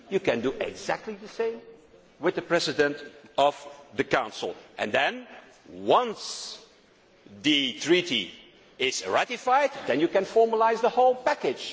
You can do exactly the same with the President of the Council and then, once the Treaty is ratified, you can formalise the whole